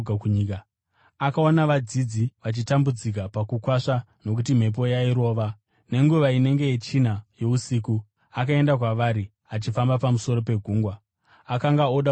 Akaona vadzidzi vachitambudzika pakukwasva, nokuti mhepo yaivarova. Nenguva inenge yechina yousiku akaenda kwavari, achifamba pamusoro pegungwa. Akanga oda kuvapfuura,